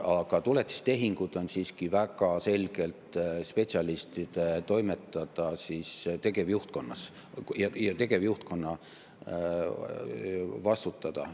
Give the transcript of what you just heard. Aga tuletistehingud on siiski väga selgelt tegevjuhtkonnas spetsialistide toimetada ja tegevjuhtkonna vastutada.